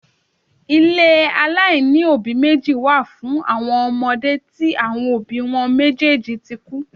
Ilé aláìní òbí meji wá fún àwọn ọmọde tí àwọn òbí wọn méjèèjì tí kú